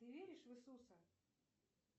ты веришь в иисуса